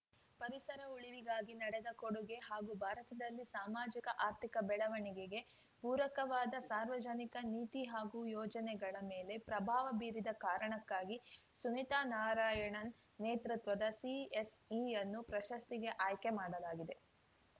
ಪರಿಸರ ಉಳಿವಿಗಾಗಿ ನೀಡಿದ ಕೊಡುಗೆ ಹಾಗೂ ಭಾರತದಲ್ಲಿ ಸಾಮಾಜಿಕ ಆರ್ಥಿಕ ಬೆಳವಣಿಗೆಗೆ ಪೂರಕವಾದ ಸಾರ್ವಜನಿಕ ನೀತಿ ಹಾಗೂ ಯೋಜನೆಗಳ ಮೇಲೆ ಪ್ರಭಾವ ಬೀರಿದ ಕಾರಣಕ್ಕಾಗಿ ಸುನಿತಾ ನಾರಾಯಣನ್‌ ನೇತೃತ್ವದ ಸಿಎಸ್‌ಇಯನ್ನು ಪ್ರಶಸ್ತಿಗೆ ಆಯ್ಕೆ ಮಾಡಲಾಗಿದೆ